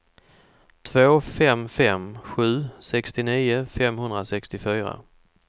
två fem fem sju sextionio femhundrasextiofyra